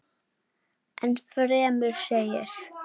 Enn fremur segir.